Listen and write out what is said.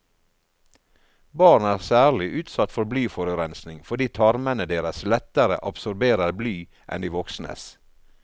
Barn er særlig utsatt for blyforurensning fordi tarmene deres lettere absorberer bly enn de voksnes.